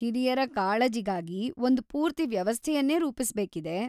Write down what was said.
ಹಿರಿಯರ ಕಾಳಜಿಗಾಗಿ ಒಂದ್‌ ಪೂರ್ತಿ ವ್ಯವಸ್ಥೆಯನ್ನೇ ರೂಪಿಸ್ಬೇಕಿದೆ.